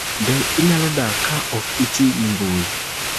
Be inyalo dak ka ok itiyo gi mbui mag mbui?